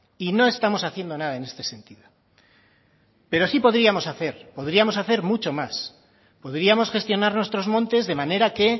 y no estamos haciendo nada en este sentido pero sí podríamos hacer podríamos hacer mucho más podríamos gestionar nuestros montes de manera que